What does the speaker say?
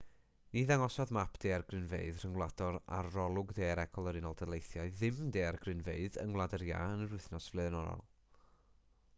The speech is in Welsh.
ni ddangosodd map daeargrynfeydd rhyngwladol arolwg daearegol yr unol daleithiau ddim daeargrynfeydd yng ngwlad yr iâ yn yr wythnos flaenorol